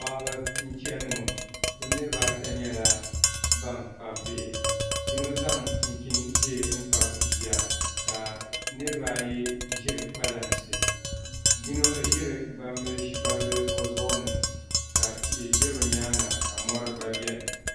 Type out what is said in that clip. Paɣaba n chɛni ŋo bi niraba ata nyɛla ban kpabi bihi yino zaŋ chinchin ʒiɛ n kpabi bia ka niraba ayi ƶiri kpalansi yino ʒiri gbambili o zuɣu ni ka tihi ʒɛ bi nyaanga ka mori gba biɛni